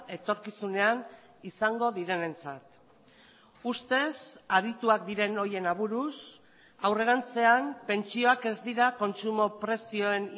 etorkizunean izango direnentzat ustez adituak diren horien aburuz aurrerantzean pentsioak ez dira kontsumo prezioen